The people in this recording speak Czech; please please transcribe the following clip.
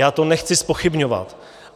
Já to nechci zpochybňovat.